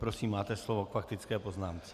Prosím, máte slovo k faktické poznámce.